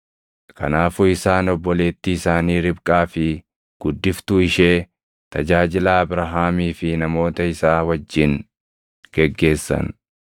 Kanaafuu isaan obboleettii isaanii Ribqaa fi guddiftuu ishee, tajaajilaa Abrahaamii fi namoota isaa wajjin geggeessan.